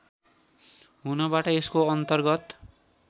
हुनबाट यसको अन्तर्गत